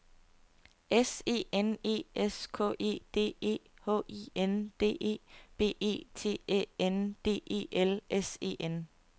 S E N E S K E D E H I N D E B E T Æ N D E L S E N